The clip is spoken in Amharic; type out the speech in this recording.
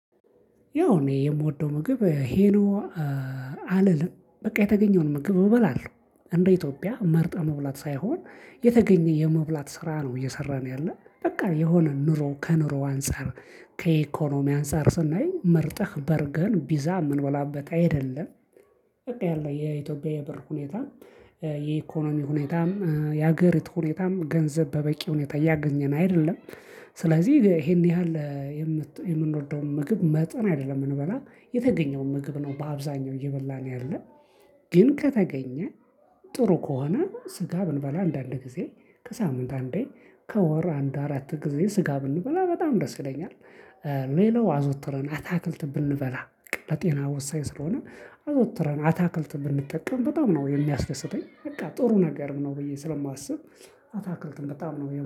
ያው እኔ የምወደው ምግብ ይኸ ነው። አልልም በቃ የተገኘውን ምግብ እበላለሁ እንደ ኢትዮጵያ መርጠው መብላት ሳይሆን የተገኘ የመብላት ስራ ነው እየሰራን ያለን በቃ የሆነ ኑሮ ከኑሮ አንፃር ከኢኮኖሚ አንፃር ስናይ መርጠህ በርገር ቢዛ የምንበላበት አይደለም። በቃ ያለው የኢትዮጵያ የብር ሁኔታ የኢኮኖሚ ሁኔታም የሀገሪቱ ሁኔታም ገንዘብ በበቂ ሁኔታ እያገኘን አይደለም። ስለዚህ ይሄን ያህል የምንወደውን ምግብ መርጠን አይደለም እምንበላ የተገኘውን ምግብ ነው በአብዛኛው እየበላን ያለን። ግን ከተገኘ ጥሩ ከሆነ ስጋ ብንበላ አንዳንድ ጊዜ ከሳምንት አንዴ ከወር አንድ አራት ጊዜ ስጋ ብንበላ በጣም ደስ ይለኛል። ሌላው አዘውትረን አታክልት ብንበላ በቃ ለጤና ወሳኝ ስለሆነ አዘውትረን አታክልት ብንጠቀም በጣም ነው የሚያስደስተኝ በቃ ጥሩ ነገር ነው ብዬ ስለማስብ አታክልት በጣም ነው